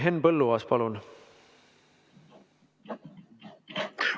Henn Põlluaas, palun!